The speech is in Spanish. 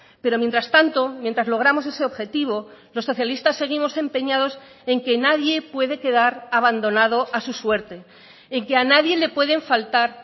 pero mientras tanto mientras logramos ese objetivo los socialistas seguimos empeñados en que nadie puede quedar abandonado a su suerte en que a nadie le pueden faltar